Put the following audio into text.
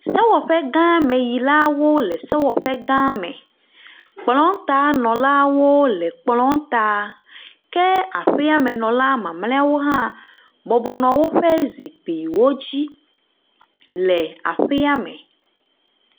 Sewɔƒegãmeyilawo le sewɔƒe gã me, kplɔtanɔlawo le kplɔa ta, ke aƒeamenɔla mamleawo hã bɔbɔ nɔ woƒe zikpuiwo dzi le aƒea me.